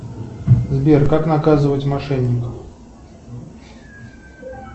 сбер как наказывать мошенников